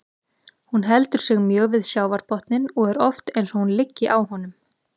Hún heldur sig mjög við sjávarbotninn og er oft eins og hún liggi á honum.